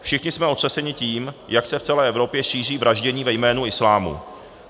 Všichni jsme otřeseni tím, jak se v celé Evropě šíří vraždění ve jménu islámu.